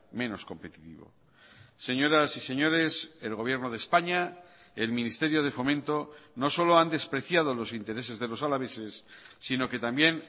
menos competitivo señoras y señores el gobierno de españa el ministerio de fomento no solo han despreciado los intereses de los alaveses sino que también